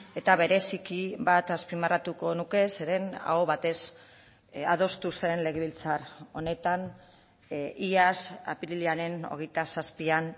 eta bereziki bat azpimarratuko nuke zeren aho batez adostu zen legebiltzar honetan iaz apirilaren hogeita zazpian